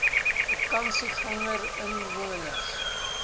vakansiegangersinwoners